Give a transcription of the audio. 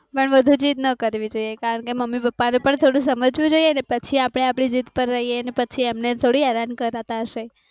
પણ વધુ જીત ન કરવી જોઈએ, કારણ કે મમ્મી પપ્પા ને પણ થોડું સમજવું જોઈએ ને પછી આપણે આપણી જીત પર રહી એને પછી એમ ને થોડી હેરાન કરતા હશે.